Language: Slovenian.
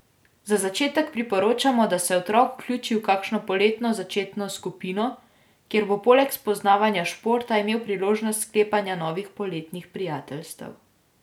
Za začetek priporočamo, da se otrok vključi v kakšno poletno začetno skupino, kjer bo poleg spoznavanja športa imel priložnost sklepanja novih poletnih prijateljstev.